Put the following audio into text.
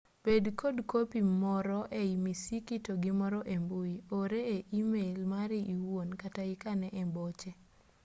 bed kod kopi more ei misiki to gi moro e mbui ore e e-mail mari iwuon kata ikane ei boche”